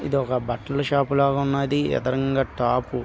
ఇది ఒక బట్టల షాప్ లాగా ఉన్నది. ఎదరంగ టాప్--